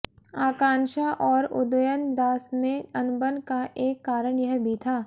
आकांक्षा और उदयन दास में अनबन का एक कारण यह भी था